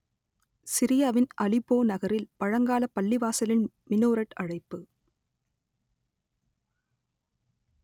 சிரியாவின் அலிப்போ நகரில் பழங்காலப் பள்ளிவாசலின் மினோரெட் அழைப்பு